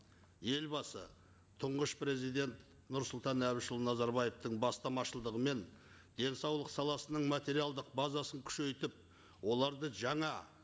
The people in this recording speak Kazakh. елбасы тұңғыш президент нұрсұлтан әбішұлы назарбаевтың бастамашылығымен денсаулық саласының материалдық базасын күшейтіп оларды жаңа